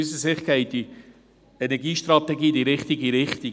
Aus unserer Sicht geht die Energiestrategie in die richtige Richtung.